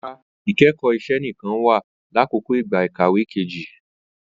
Rara, ikẹkọ iṣẹ nikan wa lakoko igba ikawe keji